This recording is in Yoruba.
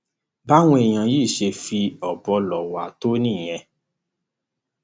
báwọn èèyàn yìí ṣe fi ọbọ ló wá tó nìyẹn